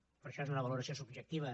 però això és una valoració subjectiva